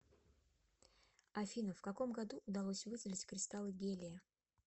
афина в каком году удалось выделить кристаллы гелия